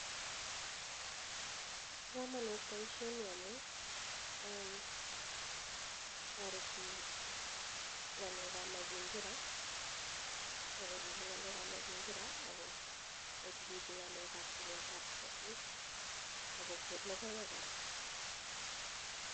Pa kamanut baishoni amu tareti ng'alek ap mazingira akochuchuchi ng'alekab tilet ap ketik akokonu lokoek kora.